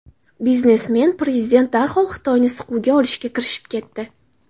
Biznesmen prezident darhol Xitoyni siquvga olishga kirishib ketdi.